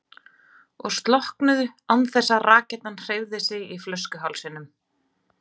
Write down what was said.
og slokknuðu án þess að rakettan hreyfði sig í flöskuhálsinum.